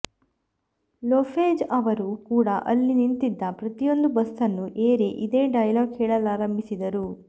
Lopez ಅವರು ಕೂಡ ಅಲ್ಲಿ ನಿಂತಿದ್ದ ಪ್ರತಿಯೊಂದು ಬಸ್ಸನ್ನು ಏರಿ ಇದೇ ಡೈಲಾಗ್ ಹೇಳಲಾರಂಭಿಸಿದರು